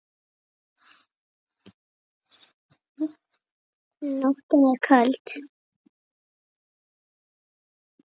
Nóttin er köld.